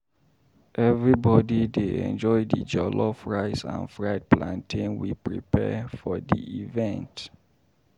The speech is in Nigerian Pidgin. Everybody dey enjoy the jollof rice and fried plantain we prepare for the event.